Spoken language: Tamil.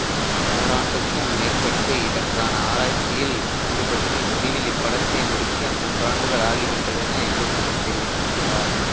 ஓராண்டுக்கும் மேற்பட்டு இதற்கான ஆராய்ச்சியில் ஈடுபட்டு முடிவில் இப்படத்தை முடிக்க மூன்றாண்டுகள் ஆகி விட்டதென இயக்குனர் தெரிவித்திருந்தார்